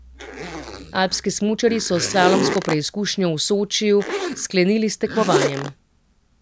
Alpski smučarji so s slalomsko preizkušnjo v Sočiju sklenili s tekmovanjem.